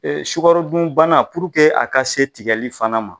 E sukarodunbana puruke a ka se tigɛli fana ma